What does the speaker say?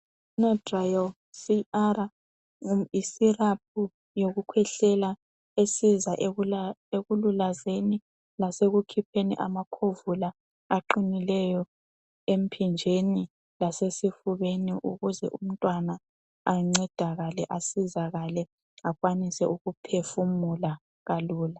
I benadryl CR yi cyrup yokukhwehlela esiza ekula ekululazeni lasekukhipheni amakhovula aqinileyo empinjeni lasesifubeni ukuze umntwana ancedakale, asizakale ,asizakale ,,akwanise ukuphefumula kalula.